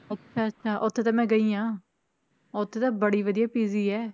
ਅੱਛਾ ਅੱਛਾ ਉੱਥੇ ਤਾਂ ਮੈਂ ਗਈ ਹਾਂ ਉੱਥੇ ਤਾਂ ਬੜੀ ਵਧੀਆ PG ਹੈ